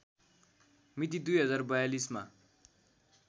मिति २०४२ मा